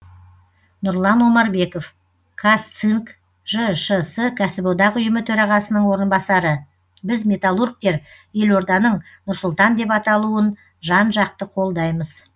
нұрлан омарбеков казцинк жшс кәсіподақ ұйымы төрағасының орынбасары біз металлургтер елорданың нұр сұлтан деп аталуын жан жақты қолдаймыз